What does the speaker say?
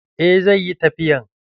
Eh, zai yi tafiyan.